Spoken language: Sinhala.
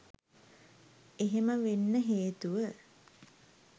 එහෙම වෙන්න හේතුව